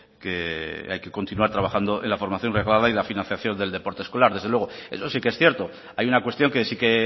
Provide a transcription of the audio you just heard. que hay que continuar trabajando en la formación reglada y la financiación del deporte escolar eso sí que es cierto hay una cuestión que sí que